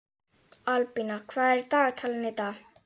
Albína, hvað er í dagatalinu í dag?